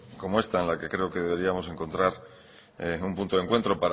como esta en la que creo que deberíamos encontrar un punto de encuentro